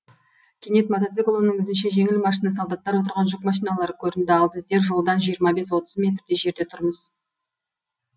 кенет мотоцикл оның ізінше жеңіл машина солдаттар отырған жүк машиналары көрінді ал біздер жолдан жиырма бес отыз метрдей жерде тұрмыз